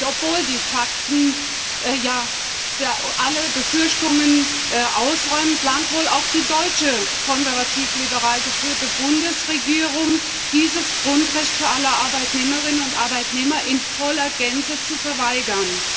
Obwohl die Fakten ja alle Befürchtungen ausräumen, plant wohl auch die deutsche konservativ liberal geführte Bundesregierung, dieses Grundrecht für alle Arbeitnehmerinnen und Arbeitnehmer in voller Gänze zu verweigern.